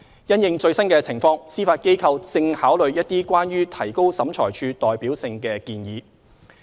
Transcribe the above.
因應最新情況，司法機構正考慮一些關於提高審裁處代表性的建議。